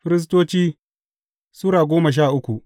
Firistoci Sura goma sha uku